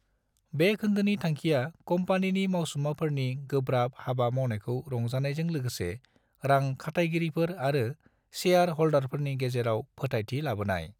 बे खोन्दोनि थांखिया कम्पानिनि मावसुमाफोरनि गोब्राब हाबा मावनायखौ रंजानायजों लोगोसे रां खाथायगिरिफोर आरो सेयार हल्दारफोरनि गेजेराव फोथायथि लाबोनाय।